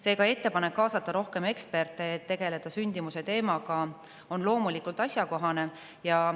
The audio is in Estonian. Seega, ettepanek kaasata rohkem eksperte, et tegeleda sündimuse teemaga, on loomulikult asjakohane.